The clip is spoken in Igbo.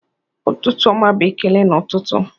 "Ụtụtụ ọma" bụ ekele n'ụtụtụ.